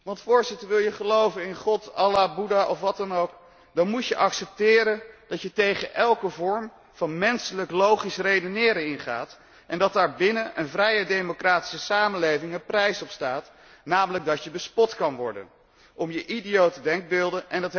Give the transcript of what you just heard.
Want, wil je geloven in God, Allah, Boeddha of wat dan ook, dan moet je accepteren dat je tegen elke vorm van menselijk logisch redeneren ingaat en dat daar binnen een vrije democratische samenleving een prijs opstaat, namelijk dat je bespot kunt worden om je idiote denkbeelden.